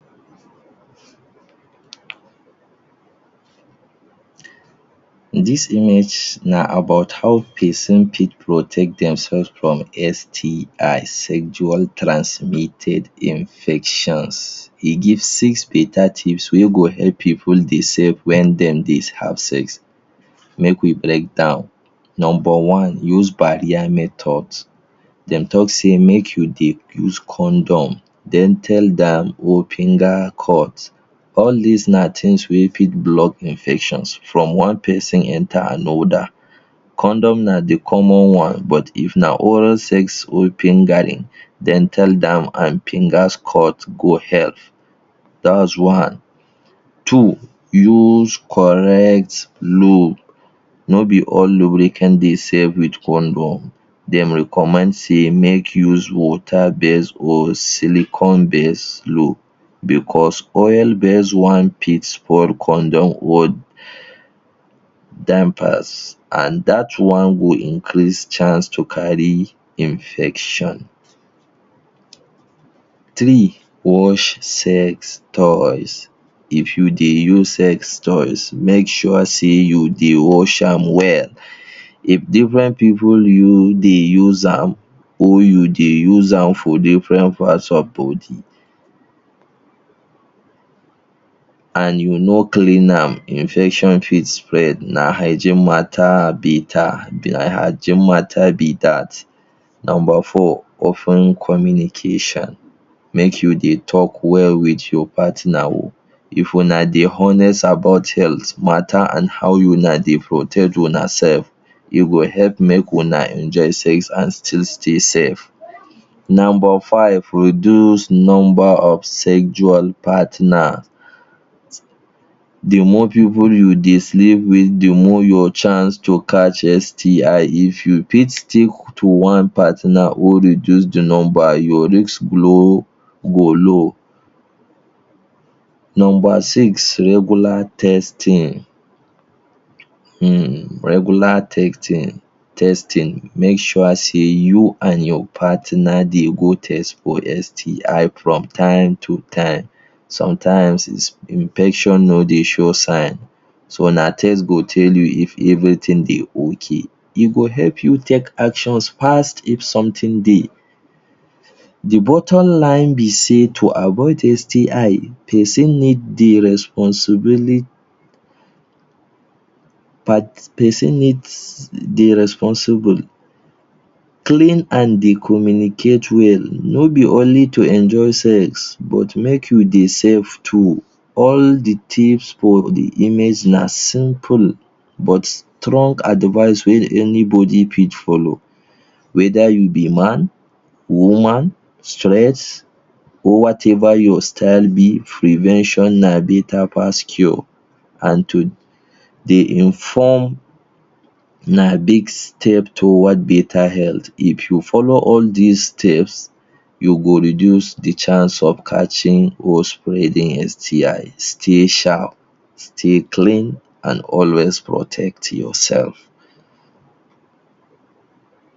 Dis image na about how peson fit protect demsef from STIs—Sexual Transmitted Infections. E give six beta tips wey go help pipo dey safe wen dem dey have sex. Make we break down. Nomba one use barrier method. Dem talk sey make you dey use condom. Then tell All dis na tins wey fit block infections from one peson enter another. Condom na the common one but if na oral sex Two use correct lub. No be all lubricant dey safe with condom. Dem recommend sey make use water base or silicon base lub becos oil base one fit spoil condom an dat one go increase to chance to carry infection. Three, wash sex toys. If you dey use sex toys, make sure sey you dey wash am well. If different pipu dey use am, or you dey use am for different parts of body, an you no clean am, infections fit spread Na hygiene matter be Na hygiene matter be dat. Nomba four open communication. Make you dey talk well with your partner oh. If una dey honest about health matter an how una dey protect unasef, e go help make una enjoy sex an still stay safe. Nomba five, reduce nomba of sexual partner. The more pipu you dey sleep with, the more your chance to catch STI. If you fit sick to one partner or reduce the nomba, your risk go low. Nomba six, regular testing. [um]regular testing. Make sure sey you an your partner dey go test for STI from time to time. Sometimes, infection no dey show sign, so na test go tell you if everything dey okay. E go help you take actions fas if something dey. The bottom line be sey to avoid STI, peson need dey responsibili peson needs dey responsible. Clean an dey communicate well. No be only to enjoy sex, but make you dey safe too. All the tips for the image na simple but strong advice wey anybody fit follow whether you be man, woman, straight or whatever your style be. Prevention na beta pass cure an to dey inform na big step toward beta health. If you follow all dis tips, you go reduce the chance of catching or spreading STIs. Stay sharp, stay clean, an always protect yourself.